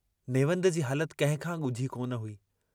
नेवंद जी हालत कहिंखां गुझी कोन हुई।